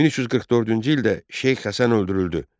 1344-cü ildə Şeyx Həsən öldürüldü.